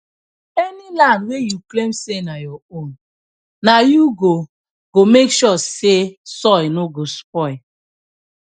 any land wey you claim say na your own na you go go make sure say soil no go spoil